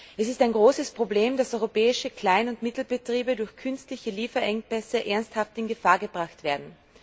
Es ist ein großes Problem, dass europäische Klein und Mittelbetriebe durch künstliche Lieferengpässe ernsthaft in Gefahr gebracht werden.